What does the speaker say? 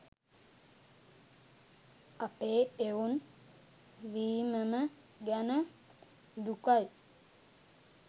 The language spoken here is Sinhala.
අපේ එවුන් වීමම ගැන දුකයි.